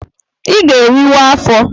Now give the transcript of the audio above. I ga-eriwa afọ!